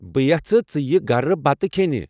بہٕ یژھٕ ژٕ یہِ گھرٕبتہٕ كھینہِ ۔